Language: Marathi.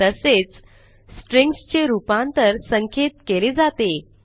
तसेच स्ट्रिंग्ज चे रूपांतर संख्येत केले जाते